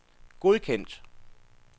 godkendt